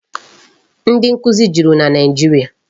Ndị nkụzi juru na Naịjiria.